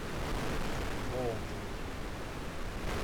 болотову